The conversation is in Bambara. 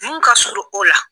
Mun ka surun o la.